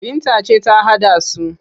Binta ce ta haɗa su,